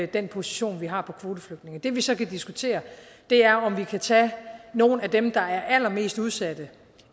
den position vi har på kvoteflygtninge det vi så kan diskutere er om vi kan tage nogle af dem der er allermest udsatte